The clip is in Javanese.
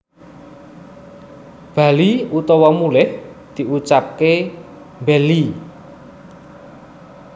bali /mulih diucapke bhelhi